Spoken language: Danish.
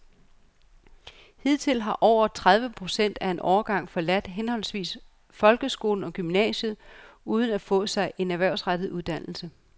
Hidtil har over tredive procent af en årgang forladt henholdsvis folkeskolen og gymnasiet uden at få sig en erhvervsrettet uddannelse.